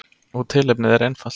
Og tilefnið er einfalt.